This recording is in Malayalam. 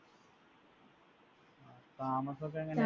താമസമൊക്കെ എങ്ങനെ